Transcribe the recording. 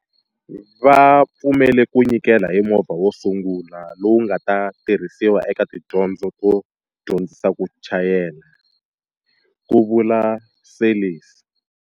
Va pfumele ku nyikela hi movha wo sungula lowu nga ta tirhisiwa eka tidyondzo to dyondzisa ku chayela, ku vula Seirlis.